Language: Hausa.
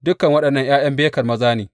Dukan waɗannan ’ya’yan Beker maza ne.